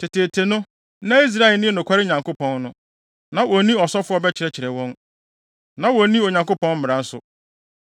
Teteete no, na Israel nni nokware Nyankopɔn no, na wonni ɔsɔfo a ɔbɛkyerɛkyerɛ wɔn, na wonni Onyankopɔn mmara nso.